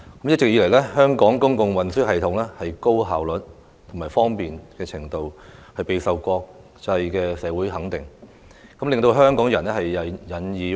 一直以來，香港公共運輸系統既方便又效率高，備受國際社會肯定，令香港人引以自豪。